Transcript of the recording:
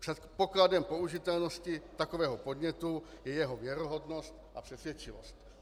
Předpokladem použitelnosti takového podnětu je jeho věrohodnost a přesvědčivost.